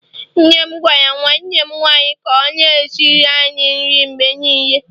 nne m gwara nwanne m nwanyi ka o na-esiri anyi nri mgbe niile